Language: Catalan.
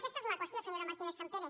aquesta és la qüestió senyora martínezsampere